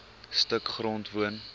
stuk grond woon